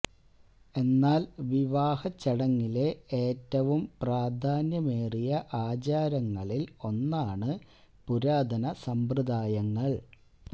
എന്നാൽ വിവാഹ ചടങ്ങിലെ ഏറ്റവും പ്രാധാന്യമേറിയ ആചാരങ്ങളിൽ ഒന്നാണ് പുരാതന സമ്പ്രദായങ്ങൾ